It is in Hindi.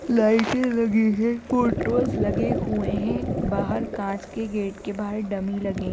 लाइटे लगी हैं फोटोज लगे हुए हैं बाहर कांच के गेट के बाहर डमी लगे --